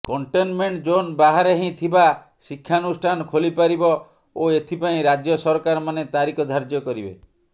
containment zone ବାହାରେ ହିଁ ଥିବା ଶିକ୍ଷାନୁଷ୍ଠାନ ଖୋଲିପାରିବ ଓ ଏଥିପାଇଁ ରାଜ୍ୟ ସରକାରମାନେ ତାରିଖ ଧାର୍ଯ୍ୟ କରିବେ